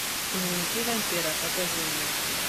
дневники вампира покажи мне